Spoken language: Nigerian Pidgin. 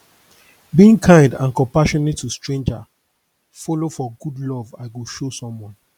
being kind and compassionate to stranger follow for good love i go show someone